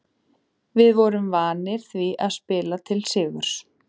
Við vorum vanir því að spila til sigurs.